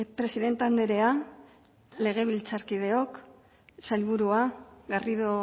presidente andrea legebiltzarkideok sailburua garrido